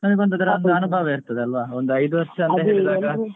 ನಮಗೆ ಅದ್ರ ಒಂದು ಅನುಭವ ಇರ್ತದೆ ಅಲ್ವಾ ಒಂದು ಐದು ವರ್ಷ ಆದ್ರೆ